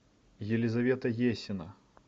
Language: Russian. елизавета есина